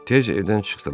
Tezcə evdən çıxdılar.